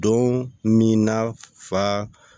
Don min na fa